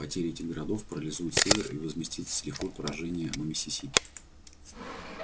потеря этих городов парализует север и возместит с лихвой поражение на миссисипи